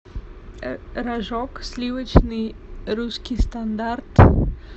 рожок сливочный русский стандарт